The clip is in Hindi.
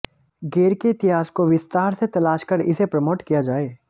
गेर के इतिहास को विस्तार से तलाश कर इसे प्रमोट किया जाए